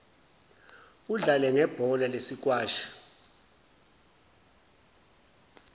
udlale ngebhola lesikwashi